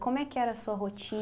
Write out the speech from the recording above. Como é que era a sua